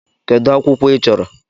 Kedu akwụkwọ ị chọrọ?